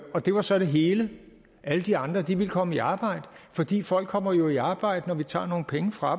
og det var så det hele alle de andre ville komme i arbejde fordi folk kommer jo i arbejde når vi tager nogle penge fra